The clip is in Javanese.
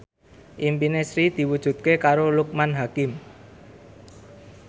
impine Sri diwujudke karo Loekman Hakim